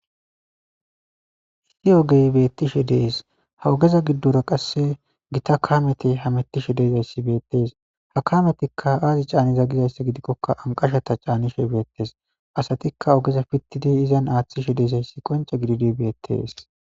issi ogey beettishe dees ha ogeza giddoro qasse gita kameti ha mettishe deezayssi beettees ha kametikka aazi caani za gizayssa gidikkokka anqashata caanishe beettes asatikka ogeza pittidi izan aaththishe deesayssi qonce gididi beettees